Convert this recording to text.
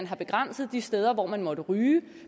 har begrænset de steder hvor man måtte ryge